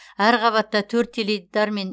әр қабатта төрт теледидар мен